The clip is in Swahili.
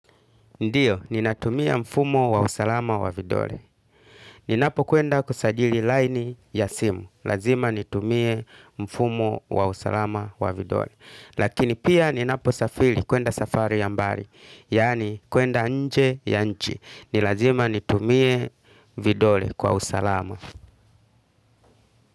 Ndiyo, ninatumia mfumo wa usalama wa vidole ninapo kwenda kusajili laini ya simu lazima nitumie mfumo wa usalama wa vidole. Lakini pia ninapo safiri kuenda safari ya mbali. Yaani kuenda nje ya nchi. Nilazima nitumie vidole kwa usalama.